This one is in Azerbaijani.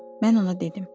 Mən ona dedim.